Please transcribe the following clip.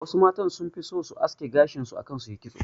Wasu matan sun fi so su aske gashin su akan su yi kitso